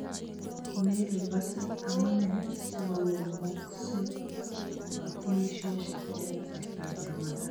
Merikosee amuneee sigongemoseei kotunisiosiek en kasrta ab Ramadhan.